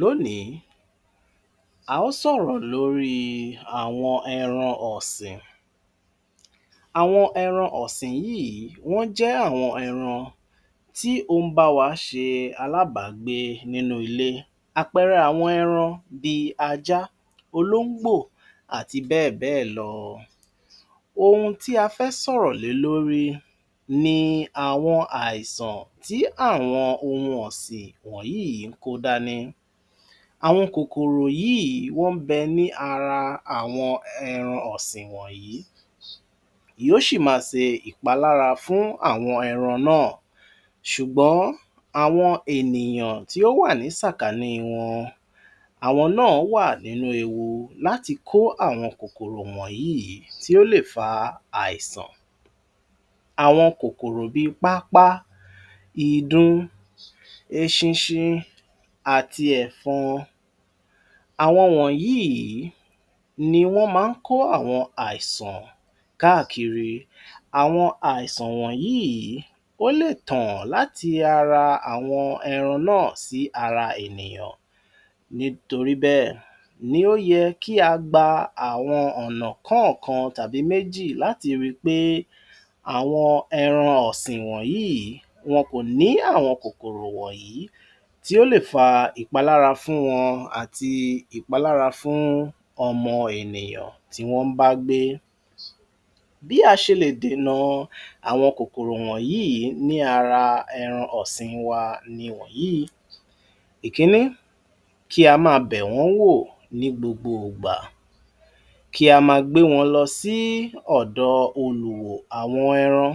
L’ónìí a ó sòrò lóríi àwọn èran ọ̀sìn. Àwọn ẹran ọ̀sìn yíì wọ́n jẹ́ àwọn ẹran tí ó ń báwa ṣe alábàágbé nínú ilé. Àpẹẹrẹ àwọn ẹran bí i ajá, olóńgbò àti bẹ́ẹ̀ bẹ́ẹ̀ lọ. Ohun tí a fẹ́ sọ̀rọ̀ lé lórí ni àwọn àìsàn tí àwọn ohun ọ̀sìn yíì kó dání. Àwọn kòkòrò yíì wọ́n ń bẹ ní ara àwọn ẹran ọ̀sìn wọ̀nyí, yóó ṣì máa ṣe ìpalára fún àwọn ẹran náà ṣùgbọ́n àwọn ènìyàn tí ó wà ní sàkánì wọn, àwọn náà wa nínú ewu láti kó àwọn kòkòrò wọ̀nyíì tí ó lè fa àìsàn. Àwọn kòkòrò bí i pápá, ìdun, eṣinṣin àti ẹ̀fọn. Àwọn wọ̀nyíì ni wọ́n má ń kó àwọn àìsàn káàkiri. Àwọn àìsàn wọ̀nyíì ó lè tàn láti ara àwọn ẹran náà sí ara ènìyàn, nítorí bẹ́ẹ̀ ni ó yẹ ki a gba àwọn ọ̀nà kọ́ọ̀kan àbí méjì láti rí pé àwọn ẹran ọ̀sìn wọ̀nyíì wọn kò ní àwọn kòkòrò wọ̀nyìí tí ó lè fa ìpalára fún wọn àti ìpalára fún ọmọ ènìyàn tí wọ́n ń bá gbé. Bí a ṣe lè dènà àwọn kòkòrò wọ̀nyíì ní ara ẹran ọ̀sìn wa nìwọ̀nyíi: Ìkínní, kí a máa bẹ̀wọ́n wò ní gbogbo ìgbà, ki a ma gbé wọn lọ sí ọ̀dọ̀ olùwò àwọn èran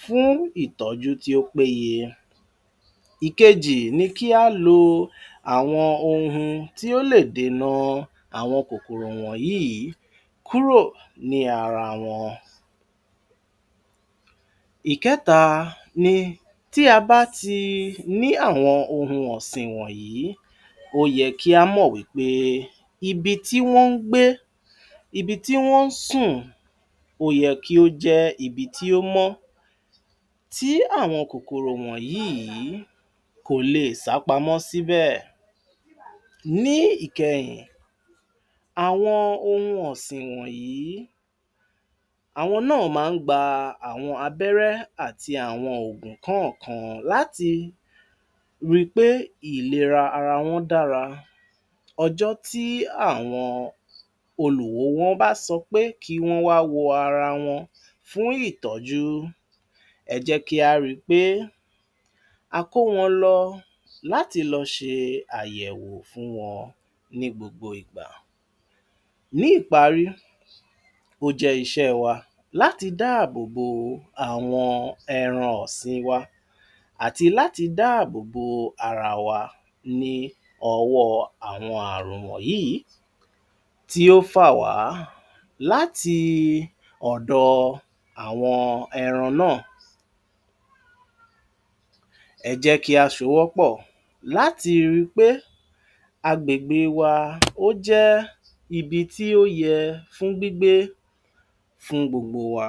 fún ìtọ́jú tí ó péye. Ìkejì ni kí á lo àwọn ohun tí ó lè dènà àwọn kòkòrò wọ̀nyíì kúrò ní ara wọn. Ìkẹ́ta ni tí a bá ti ní àwọn ohun ọ̀sìn wọ̀nyìí, ó yẹ kí á mọ̀ wí pé ibi tí wọ́n ń gbé ibi tí wọ́n ń sùn ó yẹ kí ó jẹ́ ibi tí ó mọ́ tí àwọn kòkòrò wọ̀nyìí kò le è sápamọ́ síbẹ̀. Ní ìkẹyìn, àwọn ohun ọ̀sìn wọ̀nyìí àwọn náà má ń gba àwọn abẹ́rẹ́ àti àwọn òògùn kọ́ọ̀kan láti ri pé ìlera ara wọn dára. Ọjọ́ tí àwọn olùwò wọn bá sọ pé kí wọ́n wá wo ara wọn fún ìtọ́jú, ẹ jẹ́ kí á ri ṕe a kó wọn lọ láti lọ ṣe àyèwò fún wọn ní gbogbo ìgbà. Ní ìparí, ó jẹ́ iṣẹ́ wa láti dáàbò bo àwọn ẹran ọ̀sìn wa àti láti dáàbò bo ara wa ní ọwọ́ àwọn ààrun wọ̀nyíì tí ó fà wá láti ọ̀dọ̀ àwọn ẹran náà. Ẹ jẹ́ kí á sowọ́ pọ̀ láti ri pé agbègbè wa ó jẹ́ ibi tí ó yẹ fún gbígbé fún gbogbo wa.